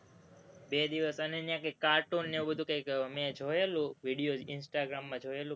બે દિવસ અને ત્યાં કંઈક cartoon ને એવું બધું કંઈક મેં જોયેલું, video instagram માં જોયેલું,